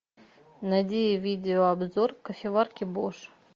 найди видео обзор кофеварки бош